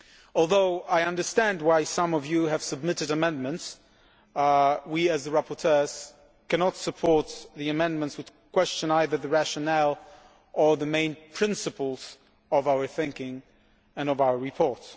Although I understand why some of you have submitted amendments, we as rapporteurs cannot support amendments which question either the rationale or the main principles of our thinking and of our report.